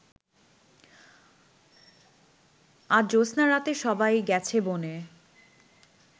আজ জ্যোত্স্নারাতে সবাই গেছে বনে